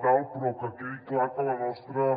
tal però que quedi clar que la nostra